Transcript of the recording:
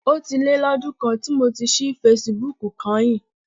Ó ti lé lọ́dún kan tí mo ti ṣí fesibúùkù kányìn.